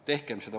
Tehkem seda!